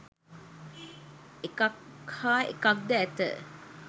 එකක් හා එකක්ද ඇත.